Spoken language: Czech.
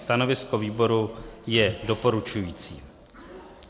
Stanovisko výboru je doporučující.